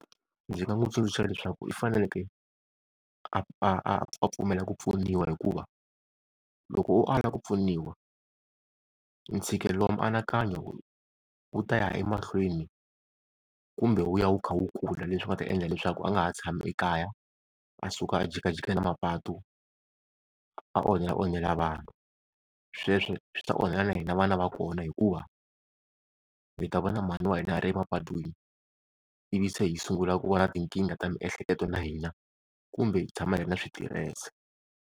Ndzi nga n'wi tsundzuxa leswaku i faneleke a a pfumela ku pfuniwa, hikuva loko o ala ku pfuniwa ntshikelelo wa mianakanyo wu ta ya emahlweni kumbe wu ya wu kha wu kula leswi swi nga ta endla leswaku a nga ha tshama ekaya a suka a jikajika na mapatu a onhela onhela vanhu. Sweswo swi ta onhela na hina na vana va kona, hikuva hi ta vona mhani wa hina a ri emapatwini, ivi se hi sungula ku va na tinkingha ta miehleketo na hina kumbe hi tshama hi ri na switirese.